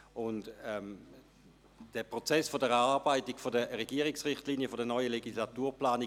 Wir stecken gerade mitten im Prozess der Erarbeitung der Regierungsrichtlinien der neuen Legislaturplanung.